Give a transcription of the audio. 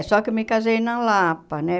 só que eu me casei na Lapa, né?